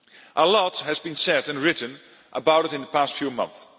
A lot has been said and written about it in the past few months.